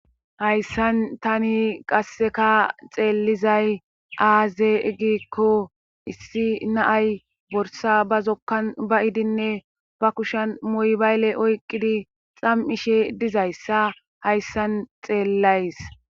Hayssan tani qasseka xeellizay aaze giikko issi na7ay borssa ba zokkan ba7idinne ba kushen moybale oyqqidi xam7ishe dizayssa hayssan xeellays.